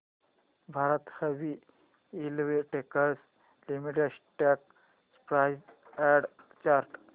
Bharat heavy electricals limited stock price and chart